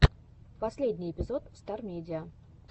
последний эпизод стар медиа